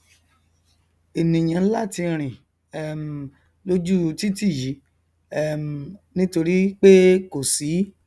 ènìà láti rìn um lóju u titi yìí um nítorípé kò sí